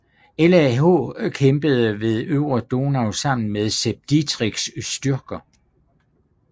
LAH kæmpede ved øvre Donau sammen med Sepp Dietrichs styrker